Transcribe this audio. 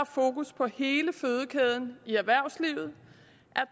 fokus på hele fødekæden i erhvervslivet